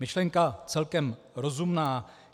Myšlenka celkem rozumná.